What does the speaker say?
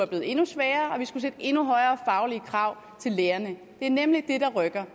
blevet endnu sværere og vi skulle stille endnu højere faglige krav til lærerne det er nemlig det der rykker